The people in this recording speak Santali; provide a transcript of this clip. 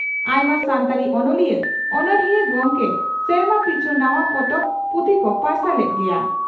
ᱟᱭᱢᱟ ᱥᱟᱱᱛᱟᱲᱤ ᱚᱱᱚᱞᱤᱭᱟᱹ/ᱚᱱᱚᱲᱦᱤᱭᱟᱹ ᱜᱚᱢᱠᱮ ᱥᱮᱨᱢᱟ ᱯᱤᱪᱷ ᱱᱟᱣᱟ ᱯᱚᱛᱚᱵ/ᱯᱩᱛᱷᱤ ᱠᱚ ᱯᱟᱨᱥᱟᱞ ᱮᱫ ᱜᱮᱭᱟ ᱾